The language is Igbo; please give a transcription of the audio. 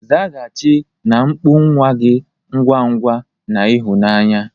Zaghachi na mkpu nwa gị ngwa ngwa na ịhụnanya.